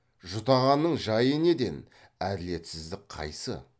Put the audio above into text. жұтағанның жайы неден әділетсіздік қайсы